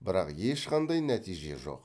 бірақ ешқандай нәтиже жоқ